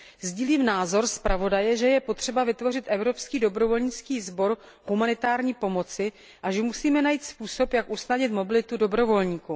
Sdílím názor zpravodaje, že je potřeba vytvořit evropský dobrovolnický sbor humanitární pomoci a že musíme najít způsob, jak usnadnit mobilitu dobrovolníků.